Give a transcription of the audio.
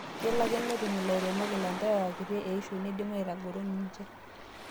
Kelo ake netum ilairemok ilanterera kitii eishioi neidim aitagoro ninche.